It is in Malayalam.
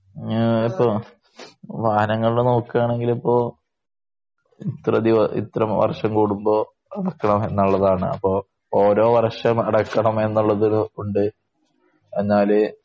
ഞാൻ ഇപ്പോ വാഹനങ്ങളില് നോക്കുകയാണെങ്കില് ഇപ്പോ ഇത്രയധികം ഇത്ര വർഷം കൂടുമ്പോ അടക്കണം എന്നുള്ളതാണ്. അപ്പോ ഓരോ വർഷം അടക്കണം എന്നുള്ളത് കൊണ്ട് എന്നാല്